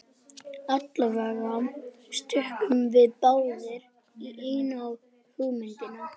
Allavega stukkum við báðir í einu á hugmyndina.